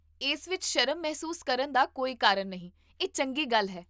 ਇਸ ਵਿੱਚ ਸ਼ਰਮ ਮਹਿਸੂਸ ਕਰਨ ਦਾ ਕੋਈ ਕਾਰਨ ਨਹੀਂ, ਇਹ ਚੰਗੀ ਗੱਲ ਹੈ